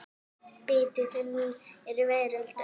Biti þinn er veröld öll.